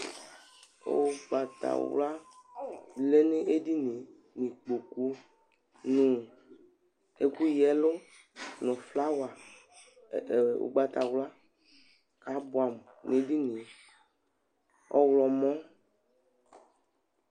Ʊgɓatawla lɛ ŋéɖɩŋɩé Ɩƙpoƙʊ ŋʊ ɛƙʊ ƴèlʊ, ŋu ƒlawa, ŋu ʊgɓatawla aɓuamʊ ŋéɖɩnɩé , ɔwlɔmɔ